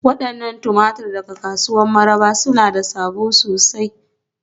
Wadannan tumatur daga kasuwar Mararaba suna da sabo sosai.